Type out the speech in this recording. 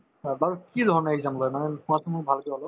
অ, বাৰু কি ধৰণে exam লই মানে কোৱাচোন মোক ভালকে অলপ